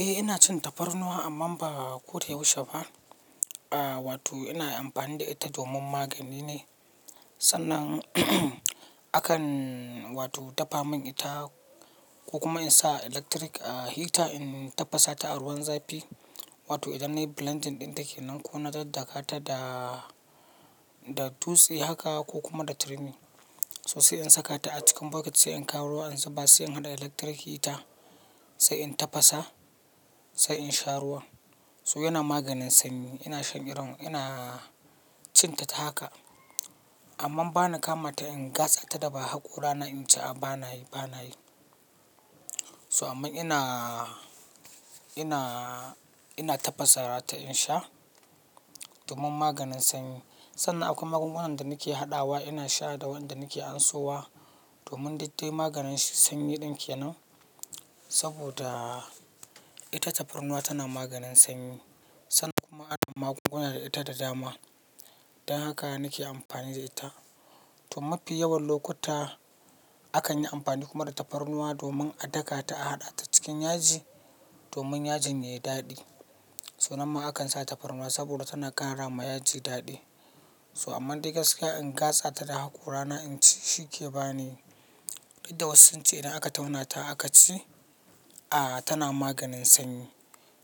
Eh ina cin tafarnuwa amma ba kodayaushe ba. Aaa wato ina amfani da ita domin magani ne. Sannan akan wato dafa mun ita ko kuma in sa electric heater in tafasa ta a ruwan zafi. Wato idan nayi blending ɗin ta ke nan ko na daddakata da, da dutse haka ko kuma da turmi. So sai in saka ta a cikin bucket sai in kawo ruwa ansa ba sai in haɗa electric heater sai in tafasa sai in sha ruwa. So yana maganin sanyi. Ina shan irin, ina cin ta ta haka. Amma ba na kama ta in gasa ta da ba haƙora na inci a ba na yi, ba na yi. So amma ina, ina, ina tafasara ta in sha domin maganin sanyi. Sannan akwai magungunan da nake haɗawa ina sha da wanda nake ansowa domin dudde maganin sanyi ɗin ke nan. Saboda ita tafarnuwa tana maganin sanyi. Sannan kuma adon magunguna da ita da dama. Dan haka nake amfani da ita. To mafi yawan lokuta akan yi amfani kuma da tafarnuwa domin a daka ta a haɗa ta cikin yaji domin yajin ya yi daɗi. So namma akan sa tafarnuwa saboda tana karawa yaji daɗi. So amma duk gaskiya in gasa ta da haƙora na inci shi ke ba ni. Duk da wasu sun ce idan aka tauna ta aka ci, a tana maganin sanyi.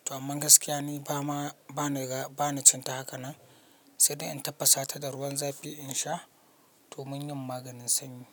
To amma ni gaskiya bamaa, bani cin ta akanan sai dai in tafasa ta da ruwan zafi in sha domin yin maganin sanyi.